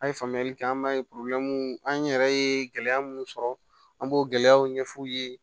An ye faamuyali kɛ an b'a ye an yɛrɛ ye gɛlɛya mun sɔrɔ an b'o gɛlɛyaw ɲɛf'u ye